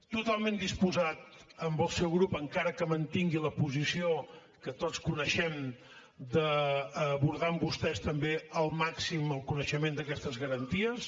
totalment disposat amb el seu grup encara que mantingui la posició que tots coneixem d’abordar amb vostès també al màxim el coneixement d’aquestes garanties